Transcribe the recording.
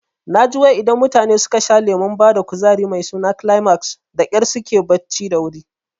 Naji wai idan mutane suka sha lemon bada kuzari mai suna Climax dakyar suke barci da wuri